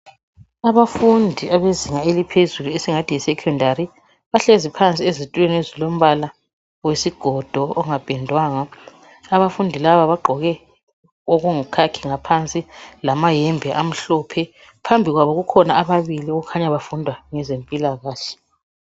Abafundi abezinga eliphezulu esingathi yi secondary, bahlezi phansi ezitulweni ezilombala wesigodo ongapendwanga, abafundi laba bagqoke okuyikhakhi ngaphansi lamayembe amhlophe. Phambi kwabo kukhona ababili okukhanya bafunda ngezempilakahle.